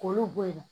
K'olu bɔ yen nɔ